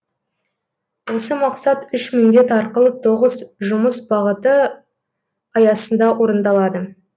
осы мақсат үш міндет арқылы тоғыз жұмыс бағыты аясында орындалады